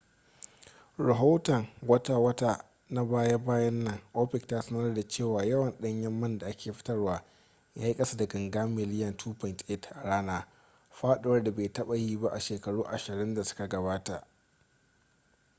a rahoton wata-wata na baya-bayan nan opec ta sanarda cewa yawan ɗanyen man da ake fitarwa ya yi kasa da ganga miliyan 2.8 a rana faɗuwar da bai taɓa yi ba a shekaru ashirin da suka gabata